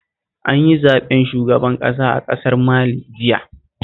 An yi zaɓen shugaban ƙasa a ƙasar Mali jiya